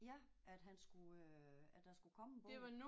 Ja at han skulle øh at der skulle komme en bog